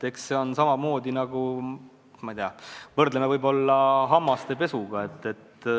Eks see on samamoodi nagu, ma ei tea, võrdleme võib-olla hammaste pesuga.